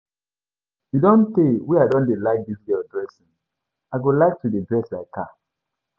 E don tee wey I don dey like dis girl dressing, I go like to dey dress like her.